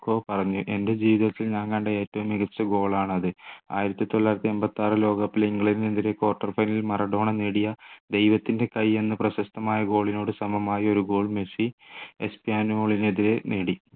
പറഞ്ഞു എൻ്റെ ജീവിതത്തിൽ ഞാൻ കണ്ട ഏറ്റവും മികച്ച goal ആണ് അത്. ആയിരത്തി തൊള്ളായിരത്തി എണ്പത്തിയാറ് ലോക cup ൽ ഇംഗ്ലണ്ടിന് എതിരെ quarter final മറഡോണ നേടിയ ദൈവത്തിൻ്റെ കൈ എന്ന പ്രശസ്തമായ goal നോട് സമമായ ഒരു goal മെസ്സി എസ്പാന്യോളിനെതിരെ നേടി